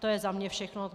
To je za mě všechno.